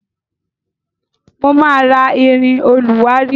Mo ma rà ìrìn olùwárí.